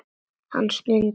Hann stundi.